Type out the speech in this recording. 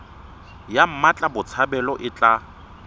ya mmatla botshabelo e tla